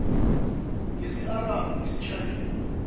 ngesi arabhu isishayina